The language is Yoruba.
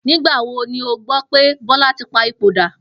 Nígbà wo ni o gbó̩ pe Bó̩la̩ ti pa ipò dà?